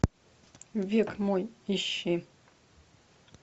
век мой ищи